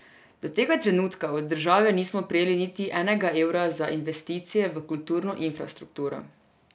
Do tega trenutka od države nismo prejeli niti enega evra za investicije v kulturno infrastrukturo.